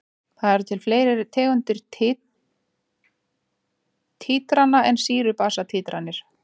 Það eru til fleiri tegundir títrana en sýru-basa títranir.